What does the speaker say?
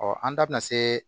an da bɛna se